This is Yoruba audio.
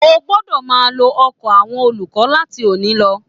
O gbọdọ máa lò ọkọ àwọn olùkọ láti òní lọ.